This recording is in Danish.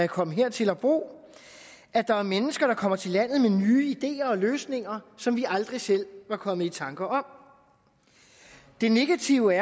komme hertil og bo at der er mennesker der kommer til landet med nye ideer og løsninger som vi aldrig selv var kommet i tanker om de negative